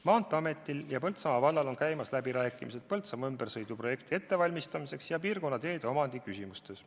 Maanteeametil ja Põltsamaa vallal on käimas läbirääkimised Põltsamaa ümbersõidutee projekti ettevalmistamiseks ja piirkonna teede omandiga seotud küsimuste asjus.